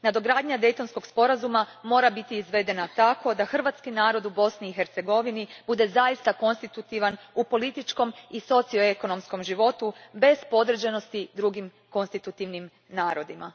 Nadogradnja Daytonskog sporazuma mora biti izvedena tako da hrvatski narod u Bosni i Hercegovini bude zaista konstitutivan u političkom i socioekonomskom životu bez podređenosti drugim konstitutivnim narodima.